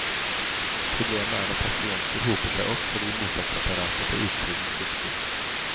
Problemet er at pasienter hoper seg opp fordi mottaksapparatet på utsiden svikter.